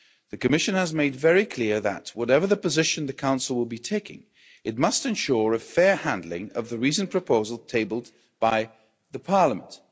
The Commission has made very clear that, whatever position the Council will be taking, it must ensure a fair handling of the reasoned proposal tabled by Parliament.